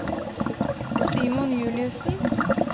Simon Juliussen